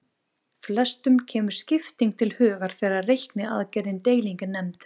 Flestum kemur skipting til hugar þegar reikniaðgerðin deiling er nefnd.